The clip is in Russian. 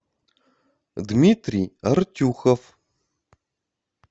дмитрий артюхов